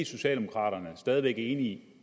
socialdemokraterne stadig væk enige